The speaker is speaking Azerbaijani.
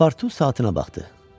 Paspartu saatına baxdı.